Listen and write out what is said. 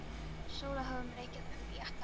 Við Sóla höfum reikað um í alla nótt.